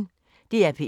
DR P1